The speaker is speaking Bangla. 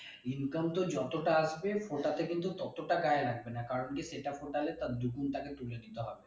Income তোর যতটা আসবে ওটাতে কিন্তু ততটা গায়ে লাগবে না কারণ কি সেটা তার দ্বিগুন তাকে তুলে নিতে হবে